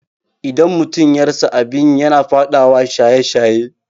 Idan mutum ya rasa abin yi yana faɗawa shaye-shaye